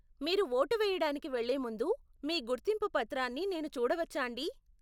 మీరు ఓటు వెయ్యడానికి వెళ్లే ముందు మీ గుర్తింపు పత్రాన్ని నేను చూడవచ్చాండీ?